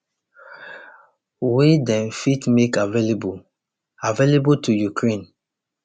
wey dem fit make available available to ukraine